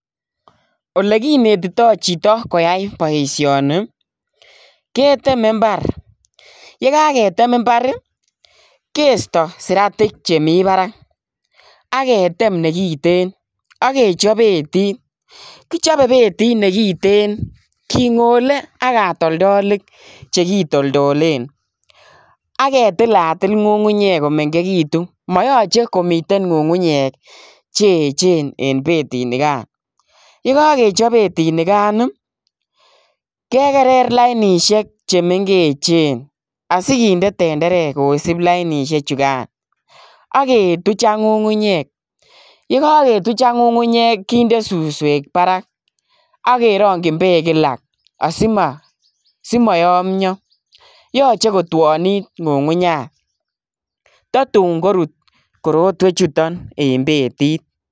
Ole kinetito chito koyai boisioni keteme imbar, ye kagetem imbar kesto siratik che mi barak ak ketem negiten ak kechop betit. Kichope betit negiten kingole ak katoldolik chegitoldolen ak ketilatil ngungunyek komengegitun. Mayoche komiten ngungunyek che eechen en betinigan. Yekagechop betinigan ii kegerer lainisiek che mengechen asiginde tenderek kosip lainisiechugan ak ketuch ak ngungunyek. Ye kagetuch ak ngungunyek kinde suswek barak ak kerongin beek kila asimayomyo. Yeche kotwonit ngungunyat tatun korut kortwechuton en betet.